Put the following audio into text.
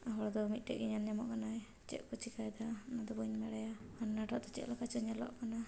ᱦᱚᱲ ᱫᱚ ᱢᱤᱴᱼᱴᱮᱡ ᱜᱤ ᱧᱮᱞ ᱧᱟᱢᱚᱜ ᱠᱟᱱᱟᱭ ᱪᱮᱫ ᱠᱩ ᱪᱮᱠᱟᱭ ᱫᱟ ᱩᱱᱟ ᱫᱚ ᱵᱟᱧ ᱵᱟᱲᱟᱭᱟ ᱦᱟᱱᱟᱴᱟ ᱫᱚ ᱪᱮᱫ ᱞᱮᱫᱟ ᱪᱚ ᱧᱮᱞᱚᱜ ᱠᱟᱱᱟ᱾